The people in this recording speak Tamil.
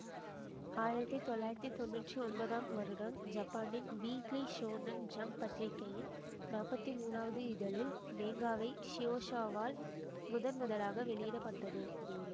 ஆயிரத்தி தொள்ளாயிரத்தி தொன்னூற்தி ஒன்பதாம் வருடம் ஜப்பானின் வீக்லி ஷோனென் ஜம்ப் பத்திரிகையின் நாற்பத்தி மூனாவது இதழில் மேங்காவை ஷுயெஷாவால் முதன் முதலாக வெளியிட பட்டது